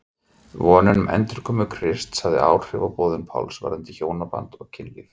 Vonin um endurkomu Krists hafði áhrif á boðun Páls varðandi hjónaband og kynlíf.